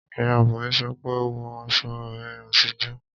Ìyá Bùnmi sọ pé "wọ aṣọ rẹ àtijọ́!"